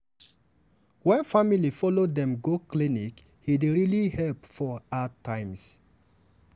wen family follow dem go clinic e dey really help for hard times.